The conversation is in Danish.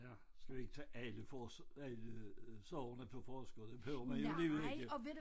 Ja skal vi ikke tage alle for alle sorgerne på forskud det behøver man alligevel ikke